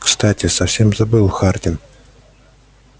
кстати совсем забыл хардин